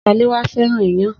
Saléwá fẹ́ràn iyán.